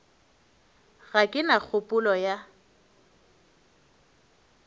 ga ke na kgopolo ya